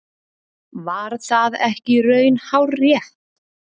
Var það ekki í raun hárrétt?